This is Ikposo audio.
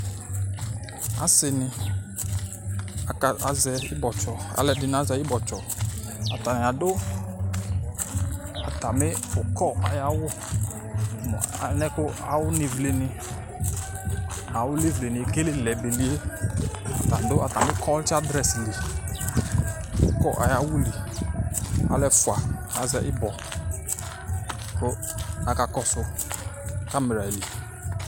asi ni aka azɛ ibɔtsɔ, ata ni adu ata mi ukɔ ayi awu mu alɛnɛ ku awu nevle ni nu awu levle ni ekelɛ belie ta du ata kɔtsa adres li, ukɔ ayi awu li alu ɛfʋa azɛ ibɔ ku ɔka kɔsu hanbrɛ li